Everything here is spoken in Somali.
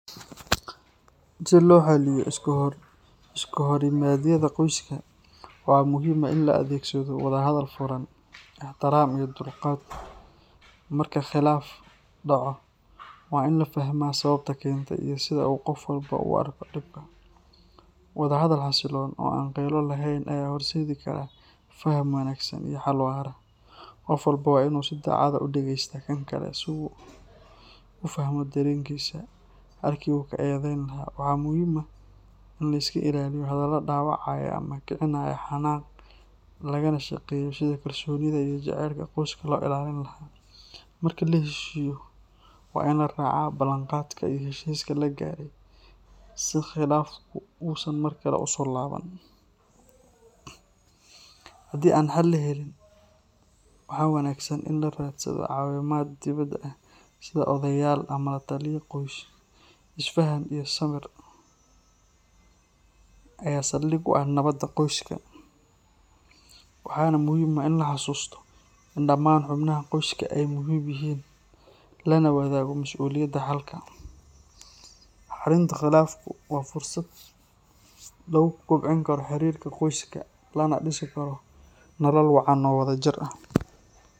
Si loo xaliyo iskahorimaadyada qoyska, waxaa muhiim ah in la adeegsado wada hadal furan, ixtiraam iyo dulqaad. Marka khilaaf dhaco, waa in la fahmaa sababta keentay iyo sida uu qof walba u arko dhibka. Wadahadal xasiloon oo aan qaylo lahayn ayaa horseedi kara faham wanaagsan iyo xal waara. Qof walba waa inuu si daacad ah u dhegeystaa kan kale si uu u fahmo dareenkiisa, halkii uu ka eedeyn lahaa. Waxaa muhiim ah in la iska ilaaliyo hadallo dhaawacaya ama kicinaya xanaaq, lagana shaqeeyo sidii kalsoonida iyo jacaylka qoyska loo ilaalin lahaa. Marka la heshiiyo, waa in la raacaa ballanqaadka iyo heshiiska la gaaray si khilaafku uusan mar kale u soo laaban. Haddii aan xal la helin, waxaa wanaagsan in la raadsado caawimaad dibadda ah sida odayaal ama lataliye qoys. Isfahan iyo samir ayaa saldhig u ah nabadda qoyska, waxaana muhiim ah in la xasuusto in dhammaan xubnaha qoyska ay muhiim yihiin, lana wadaago mas’uuliyadda xalka. Xalinta khilaafku waa fursad lagu kobcin karo xiriirka qoyska lana dhisi karo nolol wacan oo wadajir ah.